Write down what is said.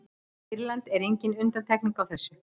sýrland er engin undantekning á þessu